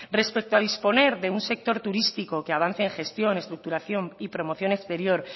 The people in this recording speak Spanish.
respecto a disponer de un sector turístico que avance en gestión estructuración y promoción exterior